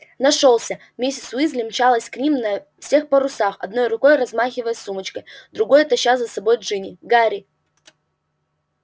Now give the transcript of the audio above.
нашёлся миссис уизли мчалась к ним на всех парусах одной рукой размахивая сумочкой другой таща за собой джинни гарри